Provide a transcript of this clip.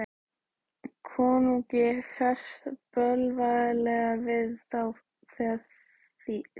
Konungi ferst bölvanlega við þá þegna sína.